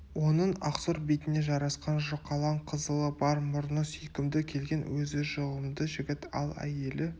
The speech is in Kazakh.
оның ақсұр бетіне жарасқан жұқалаң қызылы бар мұрны сүйкімді келген өзі жұғымды жігіт ал әйелі